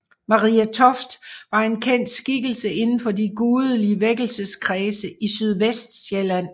Marie Toft var en kendt skikkelse inden for de gudelige vækkelseskredse i Sydvestsjælland